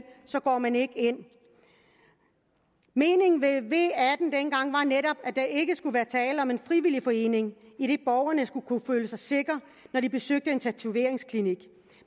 går man ikke ind meningen med v atten dengang var netop at der ikke skulle være tale om en frivillig forening idet borgerne skulle kunne føle så sikre når de besøgte en tatoveringsklinik